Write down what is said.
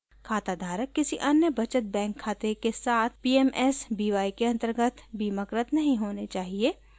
खाता धारक किसी अन्य बचत बैंक खाते के साथ pmsby के अन्तर्गत बीमाकृत नहीं होने चाहिए